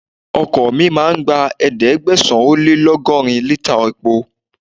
Ọkọ̀ mi máa gba ẹ̀ẹ́dẹ́gbẹ̀sán - ó - lé - lọ́gọ́rin lítà epo.